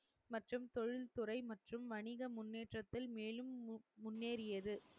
மற்றும் தொழில்துறை மற்றும் வணிக முன்னேற்றத்தில் மேலும் முன்னேறியது